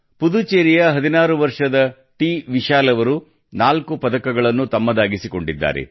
ಪುದುಚೆರಿಯ 16 ವರ್ಷದ ಟಿ ವಿಶಾಲ್ ಅವರು ನಾಲ್ಕು ಪದಕಗಳನ್ನು ತಮ್ಮದಾಗಿಸಿಕೊಂಡಿದ್ದಾರೆ